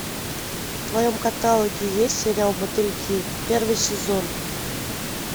в твоем каталоге есть сериал мотыльки первый сезон